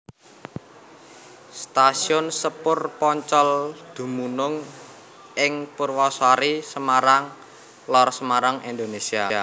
Stasiun sepur Poncol dumunung ing Purwasari Semarang Lor Semarang Indonésia